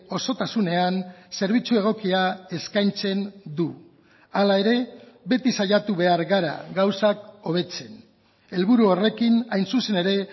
osotasunean zerbitzu egokia eskaintzen du hala ere beti saiatu behar gara gauzak hobetzen helburu horrekin hain zuzen ere